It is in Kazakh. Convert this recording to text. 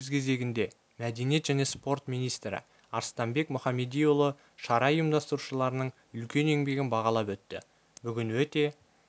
өз кезегінде мәдениет және спорт министрі арыстанбек мұіамедиұлы шара ұйымдастырушыларының үлкен еңбегін бағалап өтті бүгін өте